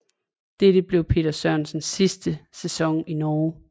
Dette blev Peter Sørensens sidste sæson i Norge